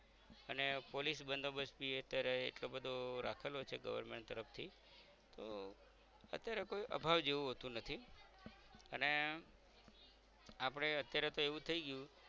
અને police બંદોબસ બી અત્યારે એટલો બધો રાખેલો છે government તરફ થી તો અત્યારે કોઈ અભાવ જેવુ હોતું નથી અને આપણે અત્યારે તોહ એવું થઈ ગયું